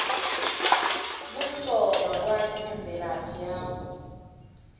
kumcoka kwati ngemvelaphi yakho